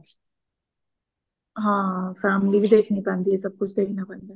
ਹਾਂ family ਵੀ ਦੇਖਣੀ ਪੈਂਦੀ ਆ ਸਭ ਕੁਛ ਦੇਖਣਾ ਪੈਂਦਾ